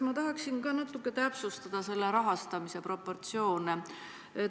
Ma tahaksin natuke täpsustada selle projekti rahastamise proportsioone.